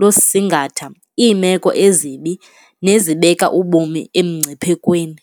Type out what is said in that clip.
losingatha iimeko ezibi nezibeka ubomi emngciphekweni.